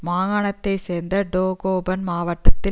மாகாணத்தைச் சேர்ந்த டோகோபன் மாவட்டத்தில்